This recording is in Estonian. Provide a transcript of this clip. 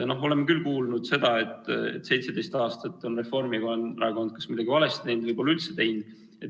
Oleme küll kuulnud seda, et 17 aastat on Reformierakond kas kogu aeg midagi valesti teinud või pole üldse teinud.